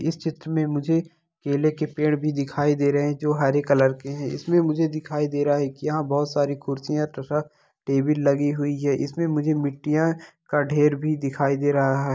इस चित्र में मुझे केले के पेड़ भी दिखाई दे रहे हैं जो हरे कलर के है इसमें मुझे दिखाई दे रहा है कि यहाँ बहुत सारी कुर्सियां तथा टेबिल लगी हुई हैं इसमें मुझे मिट्टियाँ का ढेर भी दिखाई दे रहा हैं।